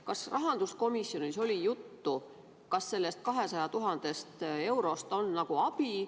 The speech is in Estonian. Kas rahanduskomisjonis oli juttu, kas sellest 200 000 eurost on abi?